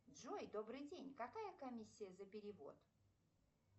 джой добрый день какая комиссия за перевод